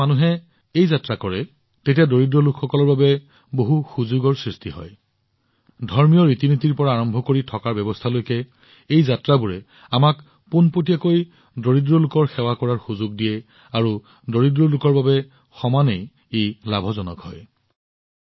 আজিও যেতিয়া জনসাধাৰণে এই যাত্ৰাবোৰলৈ যায় তেওঁলোকে ধৰ্মীয় অনুষ্ঠানৰ পৰা আৰম্ভ কৰি থকামেলাৰ ব্যৱস্থাৰ পৰা দৰিদ্ৰলোকৰ বাবে কিমান সুযোগ সৃষ্টি কৰা হৈছে অৰ্থাৎ এই যাত্ৰাবোৰে আমাক পোনপটীয়াকৈ দৰিদ্ৰলোকৰ সেৱা কৰাৰ সুযোগ দিয়ে আৰু দৰিদ্ৰলোকসকলো সমানে উপকৃত হয়